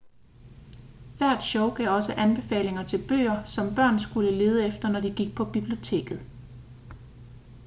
hvert show gav også anbefalinger til bøger som børn skulle lede efter når de gik på biblioteket